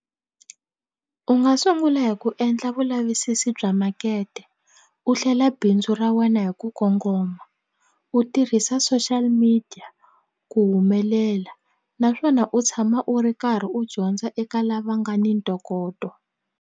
U nga sungula hi ku endla vulavisisi bya makete u hlela bindzu ra wena hi ku kongoma u tirhisa social media ku humelela naswona u tshama u ri karhi u dyondza eka lava nga ni ntokoto.